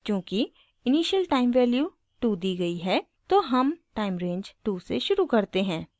चूँकि initial time value 2 दी गयी है तो हम टाइम रेंज 2 से शुरू करते हैं